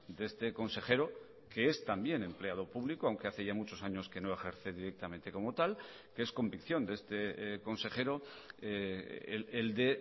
de este consejero que es también empleado público aunque hace ya muchos años que no ejerce directamente como tal que es convicción de este consejero el de